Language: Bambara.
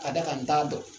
Ka d'a kan n t'a dɔn